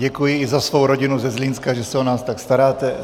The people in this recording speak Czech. Děkuji i za svou rodinu ze Zlínska, že se o nás tak staráte.